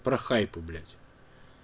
про хайпы блять